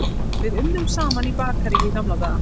Við unnum saman í bakaríi í gamla daga.